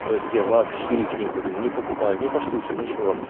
то есть я вообще их не курю не покупаю не поштучно ничего